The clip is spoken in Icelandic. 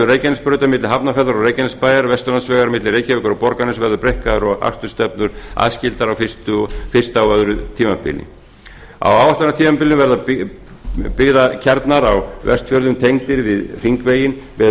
reykjanesbrautar milli hafnarfjarðar og reykjanesbæjar vesturlandsvegur milli reykjavíkur og borgarness verður breikkaður og akstursstefnur aðskildar á fyrsta og öðru tímabili á áætlunartímabilinu verða byggðakjarnar á vestfjörðum tengdir við hringveginn með